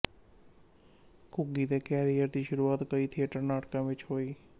ਘੁੱਗੀ ਦੇ ਕੈਰੀਅਰ ਦੀ ਸ਼ੁਰੂਆਤ ਕਈ ਥੀਏਟਰ ਨਾਟਕਾਂ ਵਿੱਚ ਹੋਈ